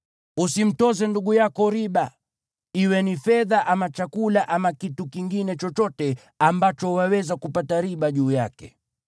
Usimtoze ndugu yako riba, iwe ni fedha ama chakula ama kitu kingine chochote ambacho waweza kupata riba juu yake.